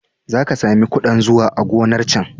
Za ka sami ƙudan zuwa a gonar can.